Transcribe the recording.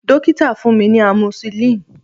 Dokita fun mi ni amoxicillin